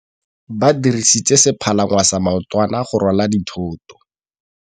Ba dirisitse sepalangwasa maotwana go rwala dithôtô.